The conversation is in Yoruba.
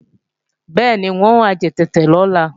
Bẹ́ẹ̀ni, n ò wá já tètè lọ́la